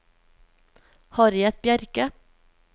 Harriet Bjerke